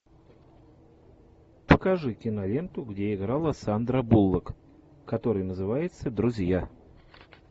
покажи киноленту где играла сандра буллок которая называется друзья